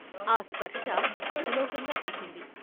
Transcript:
ఆ స్పర్శ అతిలోకంగా తోచింది.